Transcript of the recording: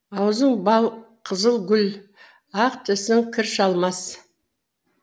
аузың бал қызыл гүл ақ тісің кір шалмас